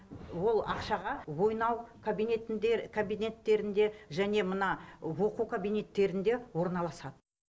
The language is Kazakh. ол ақшаға ойнау кабинеттерінде және мына оқу кабинеттерінде орналасады